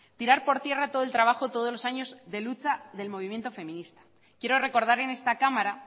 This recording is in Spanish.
tirar por tierra todo el trabajo todos los años de lucha del movimiento feminista quiero recordar en esta cámara